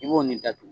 I b'o nin datugu